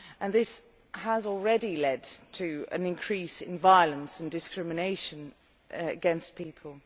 This has already led to an increase in violence and discrimination against people.